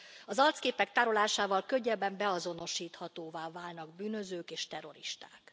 Az arcképek tárolásával könnyebben beazonosíthatóvá válnak bűnözők és terroristák.